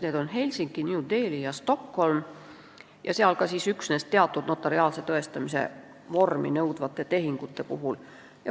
Need asuvad Helsingis, New Delhis ja Stockholmis ning seal on see lubatud üksnes teatud notariaalset tõestamise vormi nõudvate tehingute puhul.